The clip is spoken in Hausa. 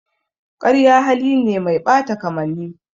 Ƙarya hali ne mai ɓata kamanni.